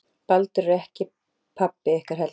Baldur er ekki pabbi ykkar heldur